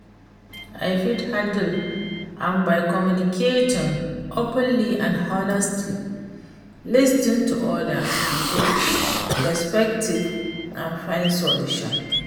I fit handle am by communicating openly and honestly, lis ten to oda person's perspective and find solution.